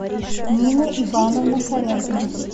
нина ивановна корягина